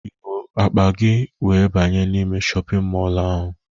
Ị buuru akpa gị wee banye n'ime shọpịn mọlụ ahụ?